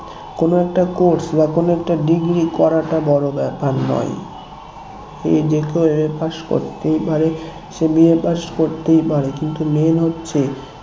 কোনো একটা course বা কোনো একটা degree করাটা বড়ো ব্যাপার নয় যে কেউ MA pass করতেই পারে সে BA pass করতেই পারে কিন্তু main হচ্ছে